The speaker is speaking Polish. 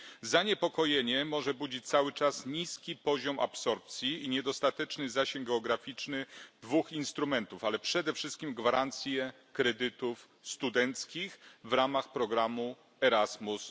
Zaniepokojenie może budzić cały czas niski poziom absorpcji i niedostateczny zasięg geograficzny dwóch instrumentów, ale przede wszystkim gwarancje kredytów studenckich w ramach programu Erasmus.